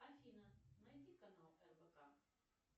афина найди канал рбк